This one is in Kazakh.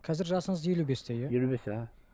қазір жасыңыз елу бесте иә елу бесте іхі